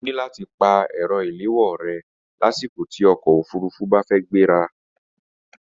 O ní láti pa ẹ̀rọ ìléwọ́ rẹ lásìkò tí ọkọ̀ òfurufú bá fẹ́ gbéra